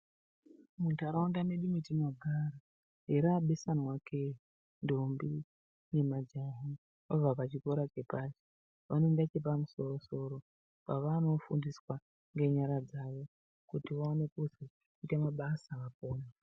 Muntaraunda medu metinogara erabesanwa kee ndombi nemajaha vabva pachikora chepashi vanoende pachikora chepamusoro soro kwavanofundiswa ngenyara dzawo kuti vaone kuzoita mabasa apone.